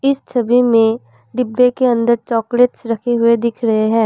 इस छवि में डिब्बे के अंदर चॉकलेट्स रखे हुए दिख रहे हैं।